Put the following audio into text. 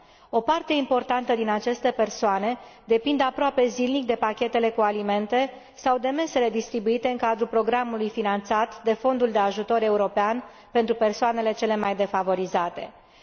O parte importantă din aceste persoane depinde aproape zilnic de pachetele cu alimente sau de mesele distribuite în cadrul programului finanțat de Fondul european de ajutor pentru cele mai defavorizate persoane.